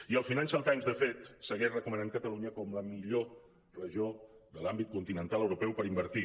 i el financial times de fet segueix recomanant catalunya com la millor regió de l’àmbit continental europeu per invertir